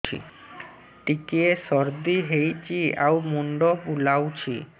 ଟିକିଏ ସର୍ଦ୍ଦି ହେଇଚି ଆଉ ମୁଣ୍ଡ ବୁଲାଉଛି